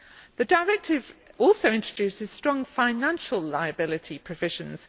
The directive also introduces strong financial liability provisions.